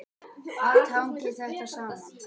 Allt hangir þetta saman.